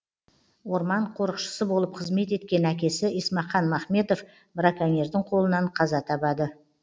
орман қорықшысы болып қызмет еткен әкесі есмақан махметов браконьердің қолынан қаза табады